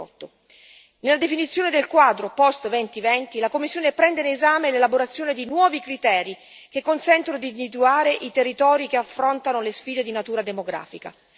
2018. Nella definizione del quadro post 2020, la Commissione prende in esame l'elaborazione di nuovi criteri che consentono di individuare i territori che affrontano le sfide di natura demografica.